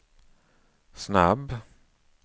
snabb